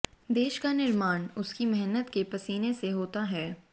देश का निर्माण उसकी मेहनत के पसीने से होता है